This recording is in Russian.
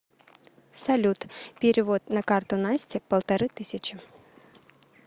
салют перевод на карту насте полторы тысячи